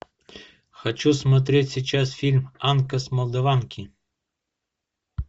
хочу смотреть сейчас фильм анка с молдаванки